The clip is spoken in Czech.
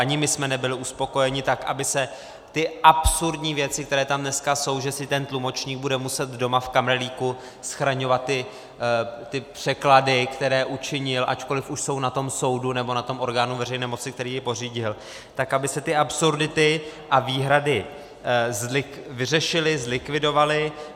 Ani my jsme nebyli uspokojeni tak, aby se ty absurdní věci, které tam dneska jsou, že si ten tlumočník bude muset doma v kamrlíku schraňovat ty překlady, které učinil, ačkoliv už jsou na tom soudu nebo na tom orgánu veřejné moci, který je pořídil, tak aby se ty absurdity a výhrady vyřešily, zlikvidovaly.